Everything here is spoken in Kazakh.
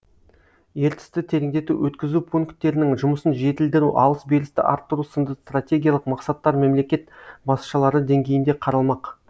ертісті тереңдету өткізу пунктерінің жұмысын жетілдіру алыс берісті арттыру сынды стратегиялық мақсаттар мемлекет басшылары деңгейінде қаралмақ